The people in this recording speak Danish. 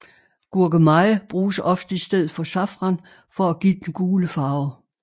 Gurkemeje bruges ofte i stedet for safran for at give den gule farve